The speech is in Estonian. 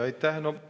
Aitäh!